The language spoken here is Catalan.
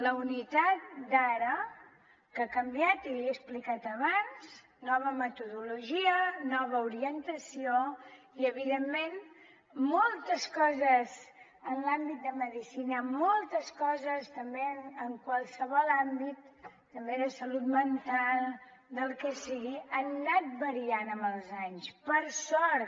la unitat d’ara que ha canviat i li he explicat abans nova metodologia nova orientació i evidentment moltes coses en l’àmbit de medicina moltes coses també en qualsevol àmbit també de salut mental del que sigui ha anat variant amb els anys per sort